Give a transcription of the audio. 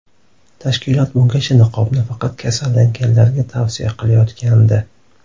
Tashkilot bungacha niqobni faqat kasallanganlarga tavsiya qilayotgandi.